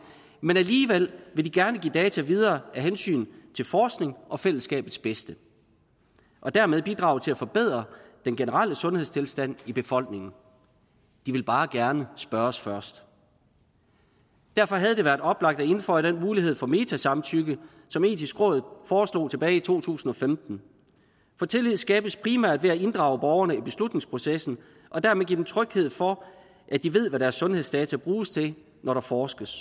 men alligevel vil de gerne give data videre af hensyn til forskning og fællesskabets bedste og dermed bidrage til at forbedre den generelle sundhedstilstand i befolkningen de vil bare gerne spørges først derfor havde det været oplagt at indføje den mulighed for metasamtykke som det etiske råd foreslog tilbage i to tusind og femten for tillid skabes primært ved at inddrage borgerne i beslutningsprocessen og dermed give dem tryghed for at de ved hvad deres sundhedsdata bruges til når der forskes